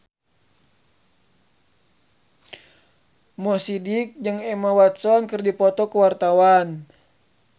Mo Sidik jeung Emma Watson keur dipoto ku wartawan